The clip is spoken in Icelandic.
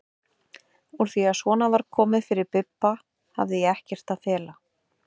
Úr því að svona var komið fyrir Bibba hafði ég ekkert að fela.